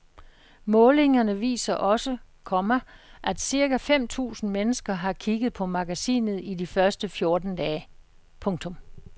Målingerne viser også, komma at cirka fem tusind mennesker har kigget på magasinet i de første fjorten dage. punktum